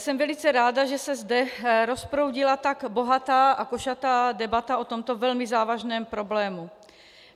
Jsem velice ráda, že se zde rozproudila tak bohatá a košatá debata o tomto velmi závažném problému.